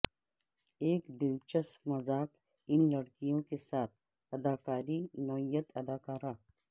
ایک دلچسپ مذاق ان لڑکیوں کے ساتھ اداکاری نوعیت اداکارہ